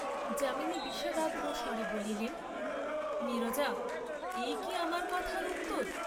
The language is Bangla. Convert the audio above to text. যামিনী বিষাদার্দ্র স্বরে বলিলেন, নীরজা এই কি আমার কথার উত্তর?